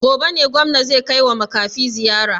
Gobe ne gwamna zai kaiwa makafi ziyara?